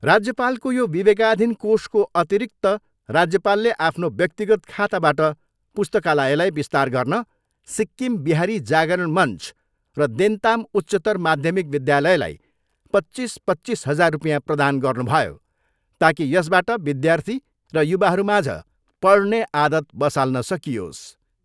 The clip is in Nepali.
राज्यपालको यो विवेकाधीन कोषको अतिरिक्त राज्यपालले आफ्नो व्यक्तिगत खाताबाट पुस्तकालयलाई विस्तार गर्न सिक्किम बिहारी जागरण मञ्च र देन्ताम उच्चतर माध्यमिक विद्यालयलाई पच्चिस पच्चिस हजार रुपियाँ प्रदान गर्नुभयो ताकि यसबाट विद्यार्थी र युवाहरूमाझ पढ्ने आदत बसाल्न सकियोस्।